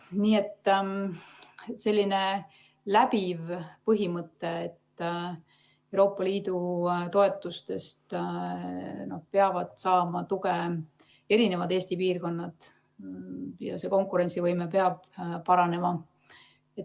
Nii et on läbiv põhimõte, et Euroopa Liidu toetustest peavad saama tuge erinevad Eesti piirkonnad ja konkurentsivõime peab paranema.